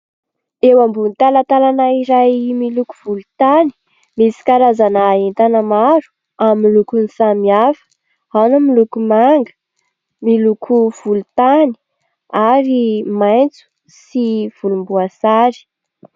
Eo ambony talatalana iray miloko volontany misy karazana entana maro amin'ny lokony samihafa : ao ny miloko manga, miloko volontany ary maitso sy volomboasary.